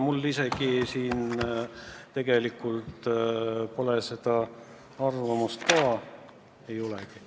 Mul endal selle kohta arvamust ei ole.